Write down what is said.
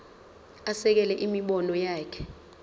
asekele imibono yakhe